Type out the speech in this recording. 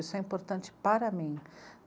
Isso é importante para mim.